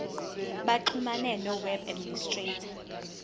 baxhumane noweb administrator